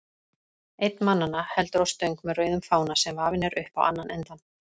Einn mannanna heldur á stöng með rauðum fána, sem vafinn er upp á annan endann.